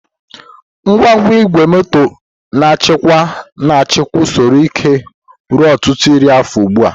Ngwa igwe moto na-achịkwa na-achịkwa usoro ike ruo ọtụtụ iri afọ ugbu a.